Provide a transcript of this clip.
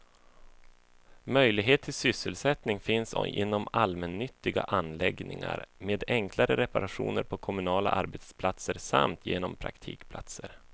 Möjlighet till sysselsättning finns inom allmännyttiga anläggningar, med enklare reparationer på kommunala arbetsplatser samt genom praktikplatser.